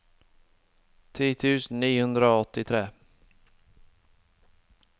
ti tusen ni hundre og åttitre